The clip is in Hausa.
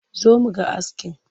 Zo mu ga askin!